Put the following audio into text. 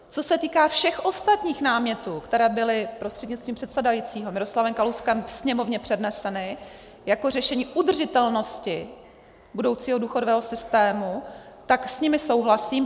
Co se týká všech ostatních námětů, které byly prostřednictvím předsedajícího Miroslavem Kalouskem Sněmovně předneseny jako řešení udržitelnosti budoucího důchodového systému, tak s nimi souhlasím.